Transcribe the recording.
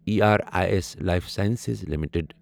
E R A S life sciences limited